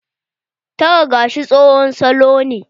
Tara gashi tsohon salo ne.